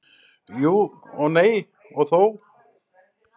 Jú og nei og þó.